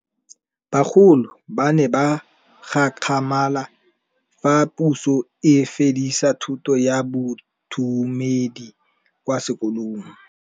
Bagolo ba ne ba gakgamala fa Pusô e fedisa thutô ya Bodumedi kwa dikolong.